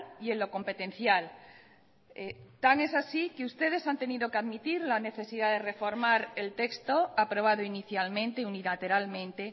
y en lo competencial tan es así que ustedes han tenido que admitir la necesidad de reformar el texto aprobado inicialmente unilateralmente